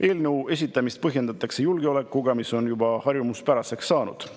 Eelnõu esitamist põhjendatakse julgeoleku, mis on juba harjumuspäraseks saanud.